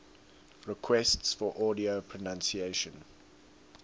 requests for audio pronunciation